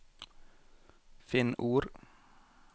Finn ord